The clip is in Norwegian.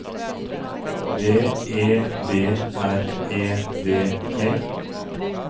B E D R E D E